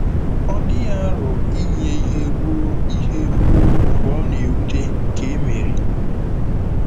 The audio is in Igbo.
Ọ dịghị aro inye ihe ruo ihe ruo mgbe ọ na-ewute ka e mere.